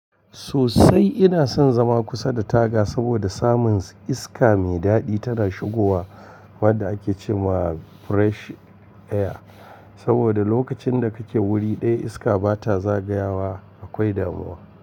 Sosai ina son zama kusa da taga saboda samun iska mai daɗi tana shigowa wadda ake ce ma fresh air. Saboda lokacin da kake wuri ɗaya iska bata zagayawa akwai damuwa.